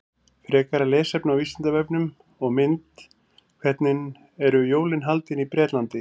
Frekara lesefni á Vísindavefnum og mynd Hvernig eru jólin haldin í Bretlandi?